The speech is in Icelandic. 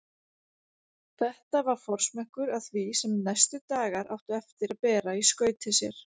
Þetta var forsmekkur að því sem næstu dagar áttu eftir að bera í skauti sér.